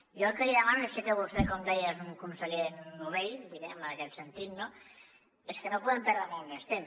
jo el que li demano i sé que vostè com deia és un conseller novell diguem ne en aquest sentit no és que no podem perdre molt més temps